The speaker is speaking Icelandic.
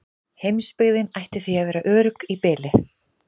Heimsbyggðin ætti því að vera örugg í bili.